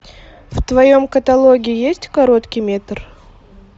в твоем каталоге есть короткий метр